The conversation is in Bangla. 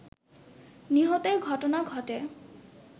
নিহতের ঘটনা ঘটে